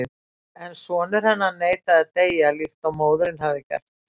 En sonur hennar neitaði að deyja líkt og móðirin hafði gert.